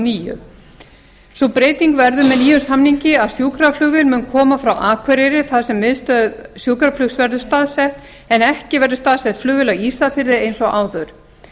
níu sú breyting verður með nýjum samningi að sjúkraflugvél mun koma frá akureyri þar sem miðstöð sjúkraflugs verður staðsett en ekki verður staðsett flugvél á ísafirði eins og áður